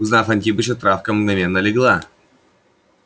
узнав антипыча травка мгновенно легла